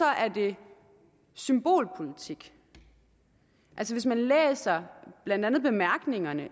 er det symbolpolitik altså hvis man læser blandt andet bemærkningerne